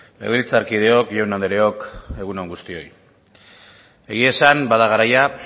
legebiltzarkideok jaun andreok egun on guztioi egia esan bada garaia